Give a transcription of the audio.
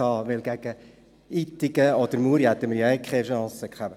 Denn gegen Ittigen oder Muri hätten wir ohnehin keine Chance gehabt.